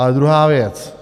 A druhá věc.